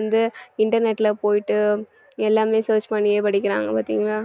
வந்து internet ல போயிட்டு எல்லாமே search பண்ணியே படிக்கறாங்க பாத்தீங்களா